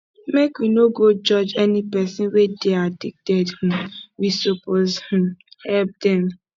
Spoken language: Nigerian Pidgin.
make we no go judge any pesin wey dey addicted um we suppose um help dem